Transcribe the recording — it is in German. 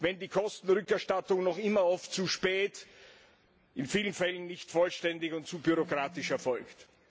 wenn die Kostenrückerstattung noch immer oft zu spät, in vielen Fällen nicht vollständig und zu bürokratisch erfolgt?